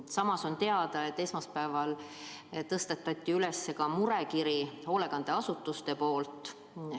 Samas on teada, et esmaspäeval tõstatati ka hoolekandeasutuste murekirja teema.